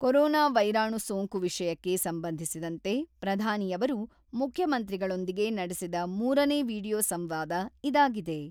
Corona ವೈರಾಣು ಸೋಂಕು ವಿಷಯಕ್ಕೆ ಸಂಬಂಧಿಸಿದಂತೆ ಪ್ರಧಾನಿ ಅವರು ಮುಖ್ಯಮಂತ್ರಿಗಳೊಂದಿಗೆ ನಡೆಸಿದ ಮೂರನೇ ವಿಡಿಯೊ ಸಂವಾದ ಇದಾಗಿದೆ.